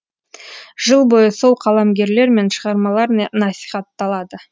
жыл бойы сол қаламгерлер мен шығармалар насихатталады